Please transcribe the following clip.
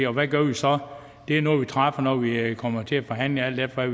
og hvad gør vi så det er noget vi træffer når vi kommer til forhandlinger alt efter